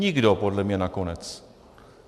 Nikdo podle mě nakonec.